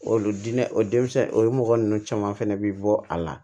Olu diinɛ o denmisɛn o mɔgɔ ninnu caman fɛnɛ bi bɔ a la